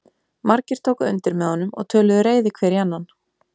Margir tóku undir með honum og töluðu reiði hver í annan.